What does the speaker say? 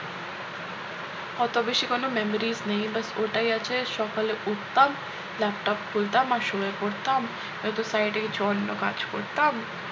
অত বেশি কোন memories নেই ব্যাস ওটাই আছে সকালে উঠতাম laptop খুলতাম আর শুয়ে পড়তাম নয়তো side এ অন্য কিছু কাজ করতাম